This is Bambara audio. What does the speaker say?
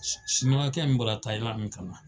Siniwakɛ min bɔra Tayiland ka na.